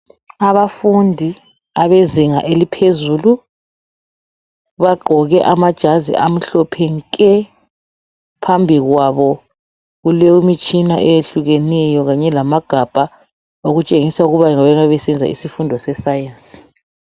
Abafundi abezinga eliphezulu bagqoke amajazi amhlophe nke, phambi kwabo kulemitshina eyehlukeneyo kanye lamagabha okutshengisa ukuba bangabe besenza isifundo se"Science".